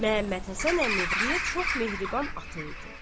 Məmmədhəsən əmi həqiqətən çox mehriban ata idi.